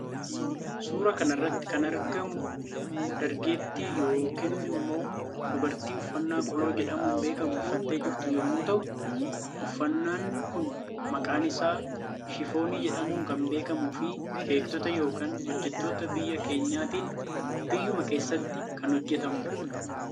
Suuraa kanarratti kan argamu dargeettii yookiin immoo dubartii ufanna qoloo jedhamuun beekamu uffattee jirtu yommuu ta'u uffannan Kun maqaan isaa shifoonii jedhamuun kan beekamu fi beektoota yookaan hojjetoota biyya keenyaatin biyyuma kessatti kan hojjetamudha.